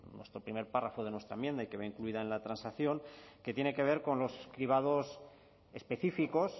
en nuestro primer párrafo de nuestra enmienda y que va incluida en la transacción que tiene que ver con los cribados específicos